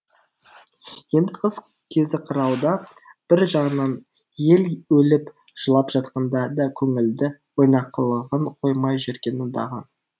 енді қыс кезі қырауда бір жағынан ел өліп жылап жатқанда да көңілді ойнақылығын қоймай жүргені дағы